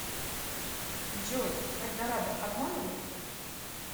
джой эльдорадо обманывает